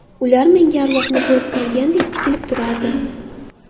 Ular menga arvohni ko‘rib qolgandek tikilib turardi.